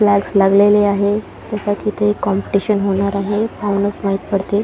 Flux लागलेले आहे जस की इथे कॉम्पटिशन होणार आहे माहीत पडतील.